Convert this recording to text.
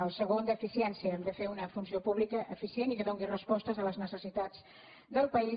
el segon d’eficiència hem de fer una funció pública eficient i que doni respostes a les necessitats del país